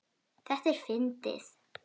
Þetta er fyndið.